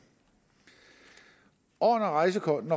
og når rejsekortet